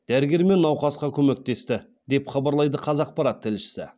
дәрігер мен науқасқа көмектесті деп хабарлайды қазақпарат тілшісі